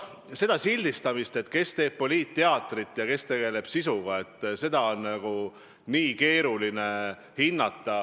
Seda sildistamist, et kes teeb poliitteatrit ja kes tegeleb sisuga, on nagunii keeruline hinnata.